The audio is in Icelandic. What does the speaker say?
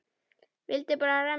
Vildi bara renna sér.